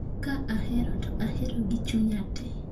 Ka ahero to ahero gi chunya te